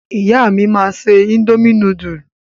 Ìyá mi máa se indomie núdúlù.